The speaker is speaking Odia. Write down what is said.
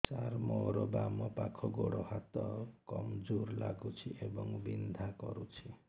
ସାର ମୋର ବାମ ପାଖ ଗୋଡ ହାତ କମଜୁର ଲାଗୁଛି ଏବଂ ବିନ୍ଧା କରୁଛି